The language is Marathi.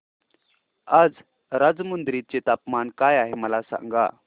आज राजमुंद्री चे तापमान काय आहे मला सांगा